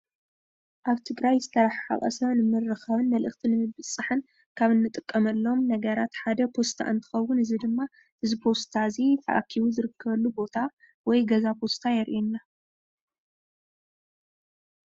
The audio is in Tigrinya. እብ ትግራይ ዝተርሓሓቀ ሰብ ንምርካብን መልእኽቲ ምብፅፃሕን ካብ ንጥቀመሎም ነገራት ሓደ ፖስታ እንትከውን እዚ ድማ ፖስታ እዚ እዚ ፖስታ ተኣኪቡ ዝርከበሉ ወይ ገዛ ፖስታ የርእየና።